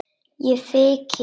Ég þyki.